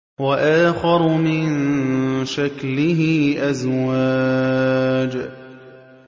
وَآخَرُ مِن شَكْلِهِ أَزْوَاجٌ